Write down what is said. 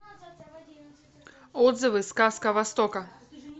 отзывы сказка востока